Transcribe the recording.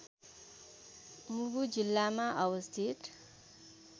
मुगु जिल्लामा अवस्थित